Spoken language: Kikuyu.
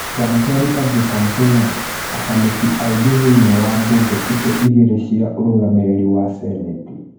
Kĩama kĩa Republican kĩna akamĩtĩ aingĩ thĩini wa mbunge icio igĩrĩ cia ũrũgamĩrĩri wa Seneti